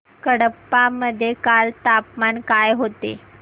कडप्पा मध्ये काल तापमान काय होते